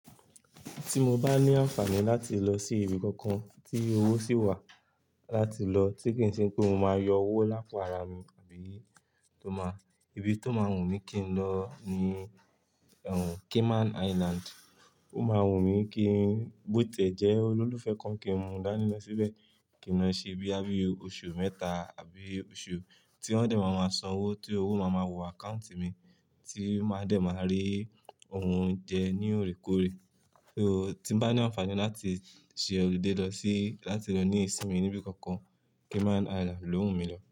Tí mo bá ní àǹfààní láti lọ sí ibi kankan tí owó sì wà láti lọ tí kì í ṣe pé mo máa yọ owó lápo árá mi àbí tó máa, ibi tó máa wù mí kí n lọ ni Cayman Island. Ó máa wù mí kí bó tẹ́ jẹ́ olólùfẹ́ kan kì í mú dáni síbẹ̀, kí n ṣe bíi àbí oṣù mẹ́ta àbí oṣù tí won dé, mo máa san owó tí owó máa ma wọ àkáùntì mi tí máa dé máa rí ohun jẹ ní òrékòóré. Ó tí bá ní àǹfààní láti ṣe ọludé lọ sí láti lọ ní ìsinmi nibi kankan, Cayman Island ló wù mí lọ.